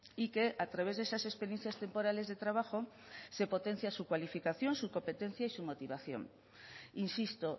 y que a través de esas experiencias temporales de trabajo se potencia su cualificación su competencia y su motivación insisto